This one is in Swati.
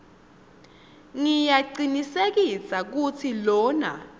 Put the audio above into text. ngiyacinisekisa kutsi lona